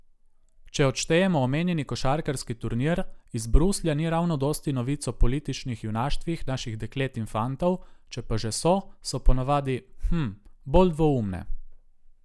Če odštejemo omenjeni košarkarski turnir, iz Bruslja ni ravno dosti novic o političnih junaštvih naših deklet in fantov, če pa že so, so ponavadi, hm, bolj dvoumne.